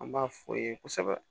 An b'a fɔ ye kosɛbɛ